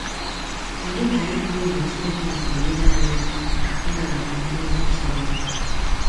Kedu ka itu egwu Chineke si enyere anyị aka ịnabata nduzi Chineke?